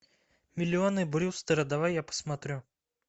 миллионы брюстера давай я посмотрю